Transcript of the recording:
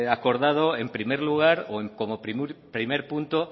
acordado en primer lugar o como primer punto